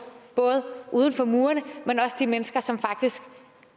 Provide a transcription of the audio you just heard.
både uden for murene men også de mennesker som faktisk